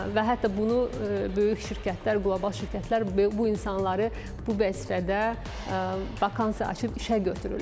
Və hətta bunu böyük şirkətlər, qlobal şirkətlər bu insanları bu vəzifədə vakansiya açıb işə götürürlər.